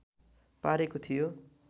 पारेको थियो